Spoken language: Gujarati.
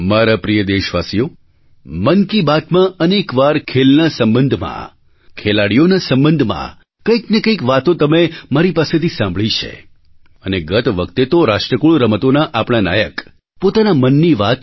મારા પ્રિય દેશવાસીઓ મન કી બાતમાં અનેક વાર ખેલના સંબંધમાં ખેલાડીઓના સંબંધમાં કંઈ ને કંઈ વાતો તમે મારી પાસેથી સાંભળી છે અને ગત વખતે તો રાષ્ટ્રકુળ રમતોના આપણા નાયક પોતાના મનની વાત